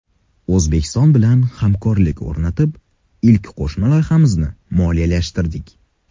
O‘zbekiston bilan hamkorlik o‘rnatib, ilk qo‘shma loyihamizni moliyalashtirdik.